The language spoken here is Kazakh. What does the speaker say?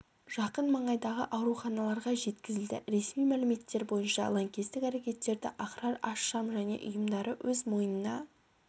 жақын маңайдағы ауруханаларға жеткізілді ресми мәліметтер бойынша лаңкестік әрекеттерді ахрар аш-шам және ұйымдары өз мойнына